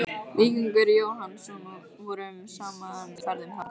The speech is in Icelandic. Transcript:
Víkingur Jóhannsson vorum saman í ferðum þangað.